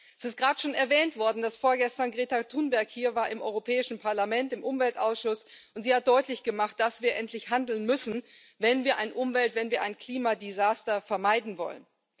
Es ist gerade schon erwähnt worden, dass vorgestern Greta Thunberg hier im Europäischen Parlament, im Umweltausschuss war, und sie hat deutlich gemacht, dass wir endlich handeln müssen, wenn wir ein Umwelt ein Klimadesaster vermeiden wollen.